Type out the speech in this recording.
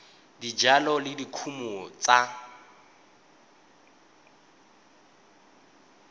ya dijalo le dikumo tsa